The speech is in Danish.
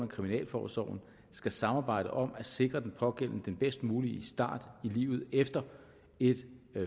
kriminalforsorgen skal samarbejde om at sikre den pågældende den bedst mulige start i livet efter et